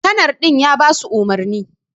kanar din ya basu umurni.